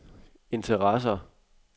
interesser